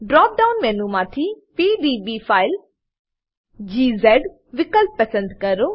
drop down menu માંથી PDB file વિકલ્પ પસંદ કરો